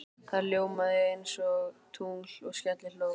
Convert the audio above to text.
Það ljómaði einsog tungl og skellihló.